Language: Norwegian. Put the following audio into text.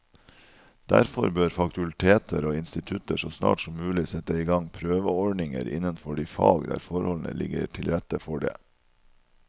Derfor bør fakulteter og institutter så snart som mulig sette i gang prøveordninger innenfor de fag der forholdene ligger til rette for det.